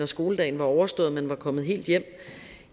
skoledagen var overstået og man var kommet helt hjem